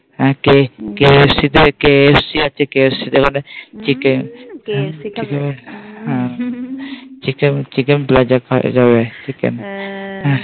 হ্যাঁ KFC তে KFC আছে KFC তে ওখানে